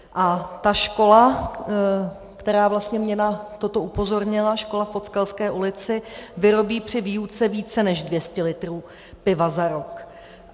A ta škola, která mě vlastně na toto upozornila, škola v Podskalské ulici, vyrobí při výuce více než 200 litrů piva za rok.